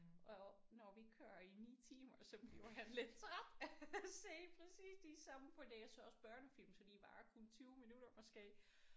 Og når vi kører i 9 timer så bliver han lidt træt af at se præcis de samme for det er så også børnefilm så de varer kun 20 minutter måske